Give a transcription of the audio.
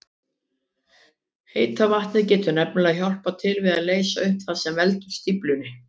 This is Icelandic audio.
Heita vatnið getur nefnilega hjálpað til við að leysa upp það sem veldur stíflunni.